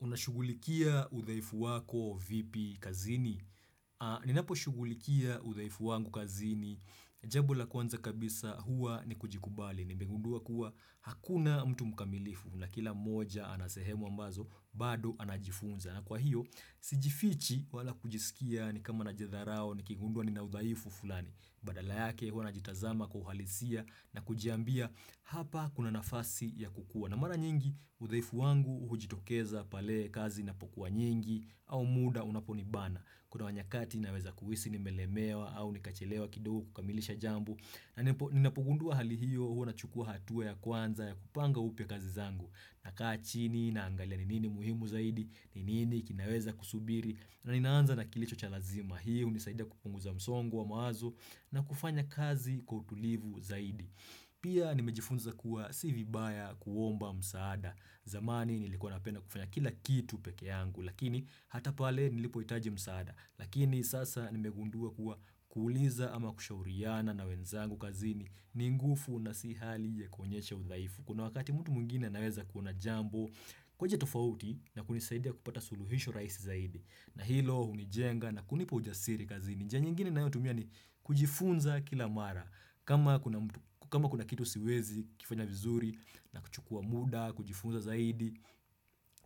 Unashugulikia uthaifu wako vipi kazini? Ninaposhugulikia uthaifu wangu kazini. Jambo la kwanza kabisa hua ni kujikubali. Nimegundua kuwa hakuna mtu mkamilifu. Na kila moja ana sehemu ambazo, bado anajifunza. Na kwa hiyo, sijifichi wala kujisikia ni kama na jidharao nikigundua nina udhaifu fulani. Badala yake hua najitazama kwa uhalisia na kujiambia hapa kuna nafasi ya kukua. Kuwa na mara nyingi, udhaifu wangu hujitokeza pale kazi inapokuwa nyingi au muda unaponibana. Kuna wanyakati naweza kuhisi nimelemewa au nikachelewa kidogo kukamilisha jambo. Na ninapogundua hali hiyo huwa nachukua hatua ya kwanza ya kupanga upya kazi zangu. Nakaa chini naangalia ni nini muhimu zaidi, ni nini kinaweza kusubiri na ninaanza na kilicho cha lazima. Hiyo hunisaida kupunguza msongo wa mawazo na kufanya kazi kwa utulivu zaidi. Pia nimejifunza kuwa si vibaya kuomba msaada. Zamani nilikuwa napenda kufanya kila kitu peke yangu. Lakini hata pale nilipohitaji msaada. Lakini sasa nimegundua kuwa kuuliza ama kushauriana na wenzangu kazini. Ni ngufu na si hali yakuonyesha udhaifu. Kuna wakati mtu mwingine anaweza kuona jambo kwa njia tofauti na kunisaidia kupata suluhisho raisi zaidi. Na hilo unijenga na kunipa ujasiri kazini. Njia nyingine ninayotumia ni kujifunza kila mara. Kama kuna kitu siwezi kifanya vizuri na kuchukua muda, kujifunza zaidi,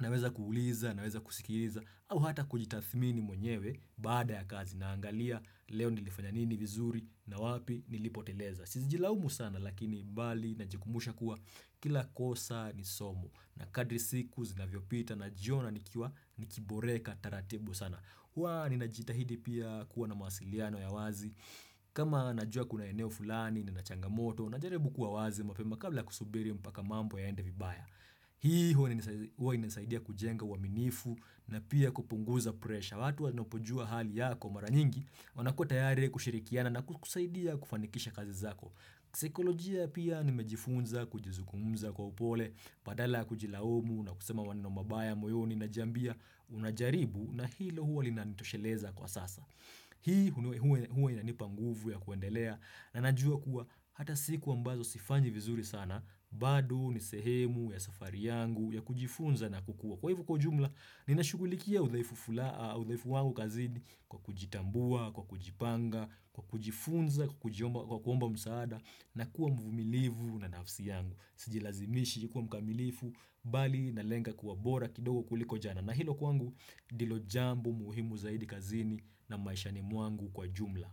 naweza kuuliza, naweza kusikiriza, au hata kujitathmini mwenyewe baada ya kazi naangalia leo nilifanya nini vizuri na wapi nilipoteleza. Siezi jilaumu sana lakini bali najikumbusha kuwa kila kosa ni somo na kadri siku zinavyopita najiona nikiboreka taratibu sana. Hwa ninajitahidi pia kuwa na mawasiliano ya wazi. Kama najua kuna eneo fulani nina changamoto najaribu kuwa wazi mapema kabla kusubiri mpaka mambo yaende vibaya. Hii huwa inasaidia kujenga uwaminifu na pia kupunguza presha. Ya watu wanapojua hali yako mara nyingi, wanakuwa tayari kushirikiana na kukusaidia kufanikisha kazi zako. Saikolojia pia nimejifunza, kujizungumza kwa upole, badala ya kujilaumu, na kusema maneno mabaya, moyoni, najiambia, unajaribu, na hilo huo linanitosheleza kwa sasa. Hii huwa inanipa nguvu ya kuendelea, na najua kuwa hata siku ambazo sifanyi vizuri sana, bado, huu ni sehemu, ya safari yangu, ya kujifunza na kukua. Kwa hivo kwa jumla, ninashugulikia udhaifu wangu kazini kwa kujitambua, kwa kujipanga, kwa kujifunza, kwa kuomba msaada na kuwa mvumilivu na nafsi yangu. Sijilazimishi kuwa mkamilifu, bali naleng kuwa bora kidogo kuliko jana. Na hilo kwangu, ndilo jambo muhimu zaidi kazini na maishani mwangu kwa jumla.